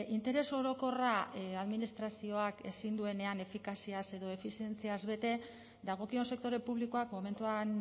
interes orokorra administrazioak ezin duenean efikaziaz edo efizientziaz bete dagokion sektore publikoak momentuan